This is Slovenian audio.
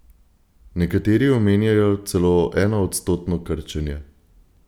Nekateri omenjajo celo enoodstotno krčenje.